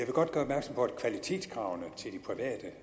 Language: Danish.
godt gøre opmærksom på at kvalitetskravene til de private